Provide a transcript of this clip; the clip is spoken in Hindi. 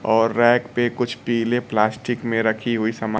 और रैक पे कुछ पीले प्लास्टिक में रखी हुई समान--